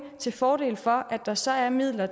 til fordel for at der så er midler